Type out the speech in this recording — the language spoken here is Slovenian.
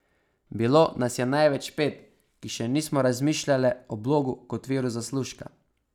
Bilo nas je največ pet, ki še nismo razmišljale o blogu kot viru zaslužka.